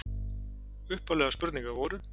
Upphaflegar spurningar voru: